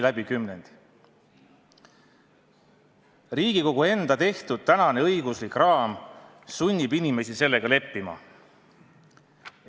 Riigikogu enda seatud tänane õiguslik raam sunnib inimesi sellega leppima.